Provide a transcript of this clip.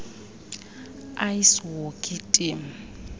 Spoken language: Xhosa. ice hockey team